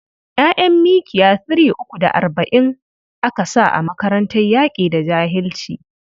ƴa'ƴan mkiya three uku da arba'in aka sa a makarantar yaƙi da jahilci?